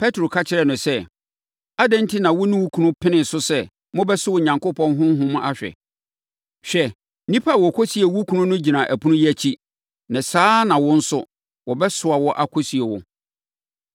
Petro ka kyerɛɛ no sɛ, “Adɛn enti na wo ne wo kunu penee so sɛ mobɛsɔ Onyankopɔn Honhom ahwɛ? Hwɛ! Nnipa a wɔkɔsiee wo kunu no gyina ɛpono yi akyi, na saa ara na wo nso, wɔbɛsoa wo akɔsie wo.”